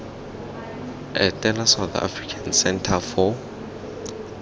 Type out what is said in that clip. etela south african centre for